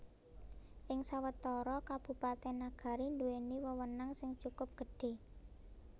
Ing sawetara Kabupatèn Nagari nduwèni wewenang sing cukup gedhé